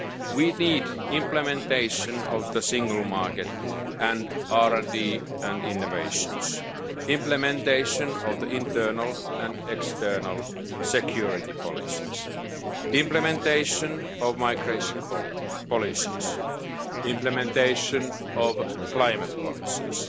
We need implementation of the single market and RD and innovations, implementation of the internal and external security policies, implementation of migration policies, implementation of climate policies.